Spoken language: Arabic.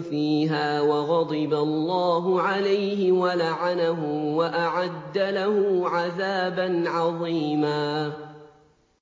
فِيهَا وَغَضِبَ اللَّهُ عَلَيْهِ وَلَعَنَهُ وَأَعَدَّ لَهُ عَذَابًا عَظِيمًا